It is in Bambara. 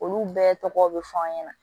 Olu bɛɛ tɔgɔ bɛ fɔ an ɲɛna